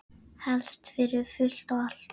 Helst fyrir fullt og allt.